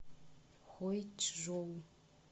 хойчжоу